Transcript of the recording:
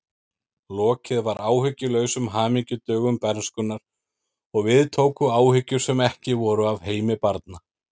Lokið var áhyggjulausum hamingjudögum bernskunnar og við tóku áhyggjur sem ekki voru af heimi barna.